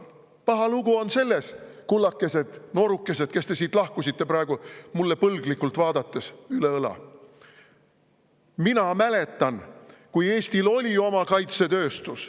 Paha lugu on selles, kullakesed, noorukesed, kes te siit lahkusite praegu, üle õla põlglikult minu poole vaadates, et Eestil oli oma kaitsetööstus.